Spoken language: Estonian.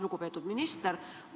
Lugupeetud minister!